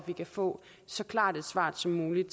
vi kan få så klart et svar som muligt